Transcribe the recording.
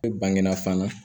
Ne bange na fana